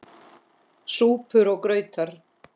SÚPUR OG GRAUTAR